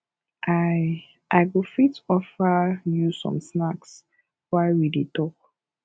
i i go fit offer you some snacks while we dey talk